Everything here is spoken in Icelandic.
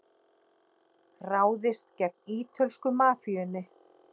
Ráðist gegn ítölsku mafíunni